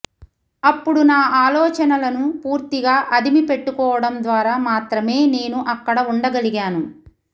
అప్పుడు నా ఆలోచనలను పూర్తిగా అదిమి పెట్టుకోవటం ద్వారా మాత్రమే నేను అక్కడ ఉండగలిగాను